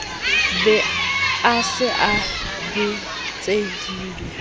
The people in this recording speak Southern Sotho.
be a se a betsehile